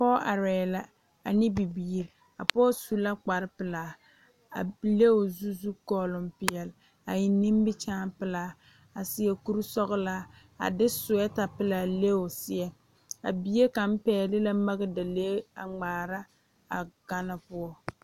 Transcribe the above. Pɔɔ arɛɛ la ane bibiire a pɔɔ su la kpare pelaa a le o zu zu kɔɔloŋ peɛle a eŋ nimikyaane pelaa a seɛ kurisɔglaa a de suwɛɛta pelaa le o seɛ a bie kaŋ pɛgle la magdalee a ngmaara a gane poɔ.